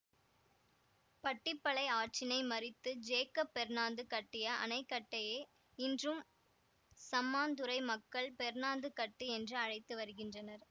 பட்டிப்பளை ஆற்றினை மறித்து ஜேக்கப் பெர்ணாந்து கட்டிய அணைக்கட்டையே இன்றும் சம்மாந்துறை மக்கள் பெர்ணாந்துக்கட்டு என்று அழைத்து வருகின்றனர்